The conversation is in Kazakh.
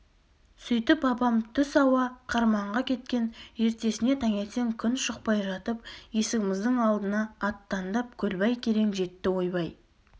сөйтіп апам түс ауа қырманға кеткен ертеңіне таңертең күн шықпай жатып есігіміздің алдына аттандап көлбай керең жетті ойбай